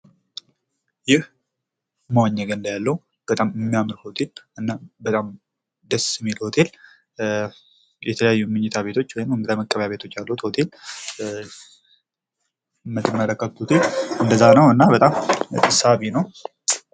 ይህ መዋኛ ግን እንዳያለው እና በጣም የሚያምር ሆቴል እና ደስ የሚል ሆቴል የተለያዩ ምኝታ ቤቶች ወይም እንግዳ መቀበያ ያሉት ሆቴል ትመለከቱኝ እንደዛ ነው። እና በጣም ሳቢ ነው።